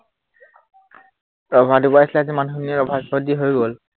ৰভা দিব আহিছিলে আজি মানুহখিনি, ৰভা সভা দি হৈ গল